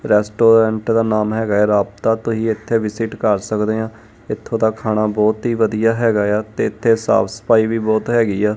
Restaurant ਦਾ ਨਾਮ ਹੈਗਾ ਐ ਰਾਬਤਾ ਤੁਹੀ ਇੱਥੇ ਵਿਸਿਟ ਕਰ ਸਕਦੇ ਆਂ ਇਥੋਂ ਦਾ ਖਾਣਾ ਬਹੁਤ ਹੀ ਵਧੀਆ ਹੈਗਾ ਏ ਆ ਤੇ ਇੱਥੇ ਸਾ਼ਫ ਸਫਾ਼ਈ ਵੀ ਬਹੁਤ ਹੈਗੀ ਆ।